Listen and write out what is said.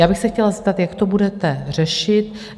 Já bych se chtěla zeptat, jak to budete řešit.